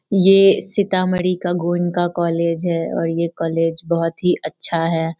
ये सीतामढ़ी का गोविंदाका कॉलेज है और ये कॉलेज बहुत ही अच्छा है।